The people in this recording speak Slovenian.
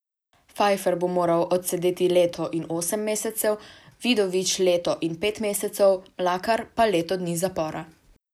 Pfajfer bo moral odsedeti leto in osem mesecev, Vidovič leto in pet mesecev, Mlakar pa leto dni zapora.